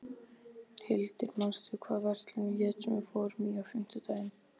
Hildir, manstu hvað verslunin hét sem við fórum í á fimmtudaginn?